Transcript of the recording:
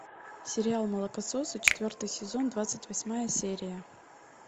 сериал молокососы четвертый сезон двадцать восьмая серия